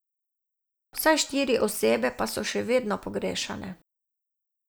Vsaj štiri osebe pa so še vedno pogrešane.